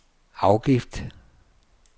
afgift